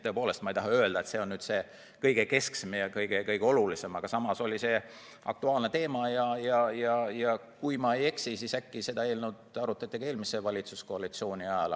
Tõepoolest, ma ei taha öelda, et see on kõige kesksem ja kõige olulisem probleem, aga samas oli see aktuaalne teema ja kui ma ei eksi, siis sellesisulist eelnõu arutati ka eelmise valitsuskoalitsiooni ajal.